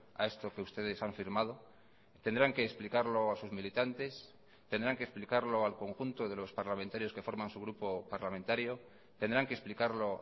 a esto que ustedes han firmado tendrán que explicarlo a sus militantes tendrán que explicarlo al conjunto de los parlamentarios que forman su grupo parlamentario tendrán que explicarlo